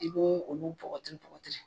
I b'olu bɔkɔti bɔkɔti.